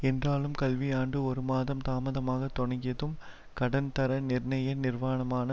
என்றாலும் கல்வியாண்டு ஒருமாதம் தாமதமாக தொடங்கியதும் கடன் தர நிர்ணய நிர்வானமான